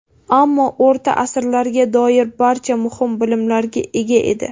Ammo o‘rta asrlarga doir barcha muhim bilimlarga ega edi.